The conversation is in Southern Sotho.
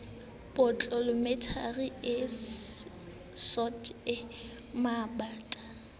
potlolomente e sootho e mabanta